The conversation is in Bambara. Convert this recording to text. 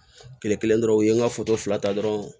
Kile kelen dɔrɔn u ye n ka fila ta dɔrɔn